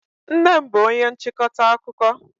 Nnem bú onye nchịkọta akụkọ.